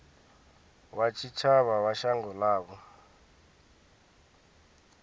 wa tshitshavha wa shango ḽavho